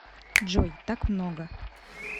джой так много